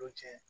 O ye tiɲɛ ye